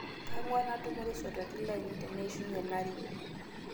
Kang'war natumore sotwatin lainie teneishunye lari